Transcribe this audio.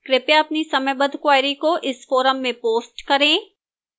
कृपया अपनी समयबद्ध queries को इस forum में post करें